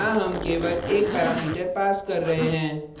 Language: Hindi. और यहाँ हम केवल एक parameter पास कर रहे हैं